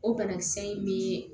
O banakisɛ in bɛ